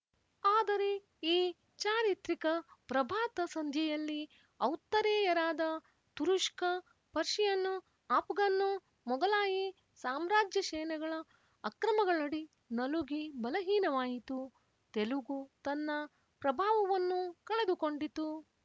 ಆದರೆ ಈ ಚಾರಿತ್ರಿಕ ಪ್ರಭಾತ ಸಂಧ್ಯೆಯಲ್ಲಿ ಔತ್ತರೇಯರಾದ ತುರುಶ್ಕ ಪರ್ಶಿಯನ್ ಆಪ್ ಘನ್ನು ಮೊಗಲಾಯಿ ಸಾಮ್ರಾಜ್ಯಸೇನೆಗಳ ಅಕ್ರಮಗಳಡಿ ನಲುಗಿ ಬಲಹೀನವಾಯಿತು ತೆಲುಗು ತನ್ನ ಪ್ರಭಾವವನ್ನು ಕಳೆದುಕೊಂಡಿತು